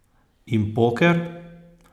In poker?